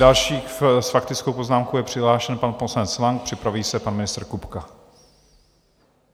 Další s faktickou poznámkou je přihlášen pan poslanec Lang, připraví se pan ministr Kupka.